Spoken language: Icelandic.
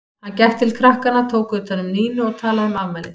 Hann gekk til krakkanna, tók utan um Nínu og talaði um afmælið.